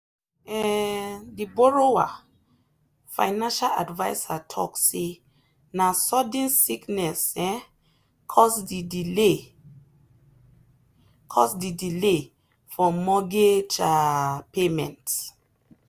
um the borrower financial adviser talk say na sudden sickness um cause the delay cause the delay for mortgage um payment.